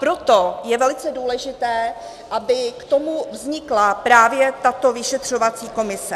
Proto je velice důležité, aby k tomu vznikla právě tato vyšetřovací komise.